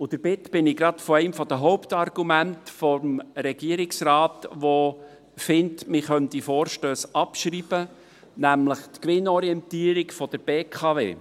Und damit bin ich gleich bei einem der Hauptargumente des Regierungsrates, der findet, man könne diese Vorstösse abschreiben, nämlich bei der Gewinnorientierung der BKW: